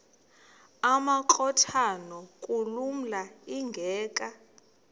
amakrot anokulamla ingeka